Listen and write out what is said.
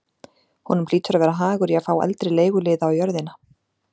Honum hlýtur að vera hagur í að fá eldri leiguliða á jörðina.